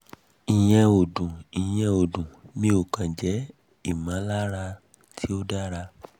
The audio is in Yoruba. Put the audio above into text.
ìyẹn ò dùn ìyẹn ò dùn mí ó kàn jẹ́ ìmọ̀lára tí ò dáŕa